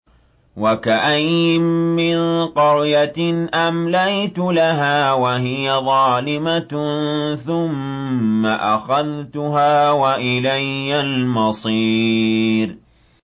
وَكَأَيِّن مِّن قَرْيَةٍ أَمْلَيْتُ لَهَا وَهِيَ ظَالِمَةٌ ثُمَّ أَخَذْتُهَا وَإِلَيَّ الْمَصِيرُ